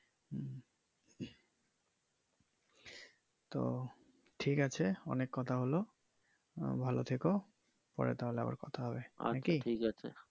তো ঠিক আছে অনেক কথা হলো আহ ভালো থেকো পরে তাহলে আবার কথা হবে আরকি।